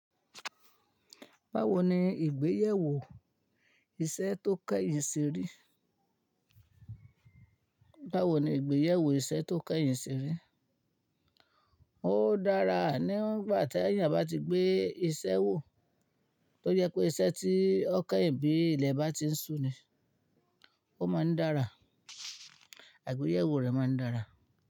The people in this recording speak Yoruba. Báwo ni ìgbéyèwò iṣẹ́ tó kẹ́yìn ṣe rí? Báwo ni ìgbéyèwò iṣẹ́ tó kẹ́yìn ṣe rí? Ó dára nígbà tí ènìyàn bá ti gbé iṣẹ́ wò. Tó yẹ pé iṣẹ́ tí ó kẹ́yìn bí ilẹ̀ bá ti ń su ni, ó máa ń dára, àgbéyèwò rẹ̀ máa ń dára.